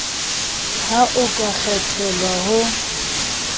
ha o ka kgethelwa ho